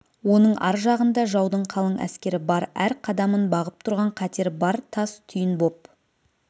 оның ар жағында жаудың қалың әскері бар әр қадамын бағып тұрған қатер бар тас түйін боп